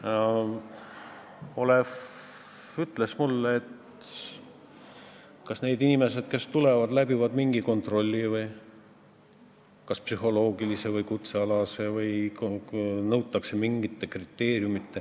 Aga Olev ütles mulle, et kas need inimesed, kes siia tulevad, läbivad mingi kontrolli, kas nad vastavad psühholoogistele või kutsealastele nõuetele või on veel mingid kriteeriumid.